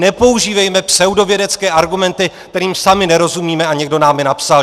Nepoužívejme pseudovědecké argumenty, kterým sami nerozumíme a někdo nám je napsal.